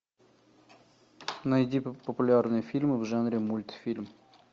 найди популярные фильмы в жанре мультфильм